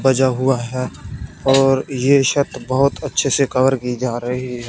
बजा हुआ है और छत बहुत अच्छे से कवर की जा रही है।